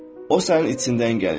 O sənin içindən gəlir.